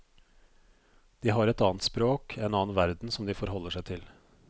De har et annet språk, en annen verden som de forholder seg til.